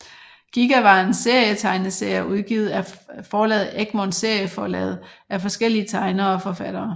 Giga var en serie tegneserier udgivet af forlaget Egmont Serieforlaget af forskellige tegnere og forfattere